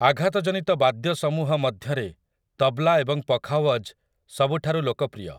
ଆଘାତଜନିତ ବାଦ୍ୟସମୂହ ମଧ୍ୟରେ ତବ୍ଲା ଏବଂ ପଖାୱଜ୍ ସବୁଠାରୁ ଲୋକପ୍ରିୟ ।